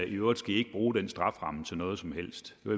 i øvrigt skal i ikke bruge den strafferamme til noget som helst det